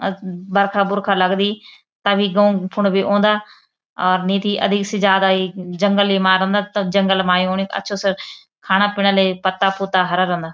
अज बरखा बुरखा लगदी तभ ई गौ फुंड भी औंदा अर नीती अधिक से जादा येक जंगल ही मा रंदा तब जंगल मा युनी अच्छू स खाणा पिणा लए पत्ता पुत्ता हरा रंदा।